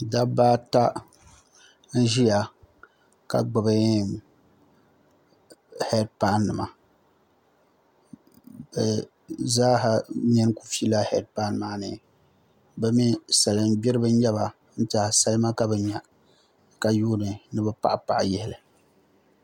Dabba ata n ʒiya ka gbubi heed pai nima bi zaaha nini ku fila heed pai maa ni bi mii salin gbiribi n nyɛba n tiɛha salima ka bi nya ka yuundi ni bi paɣi paɣi yihili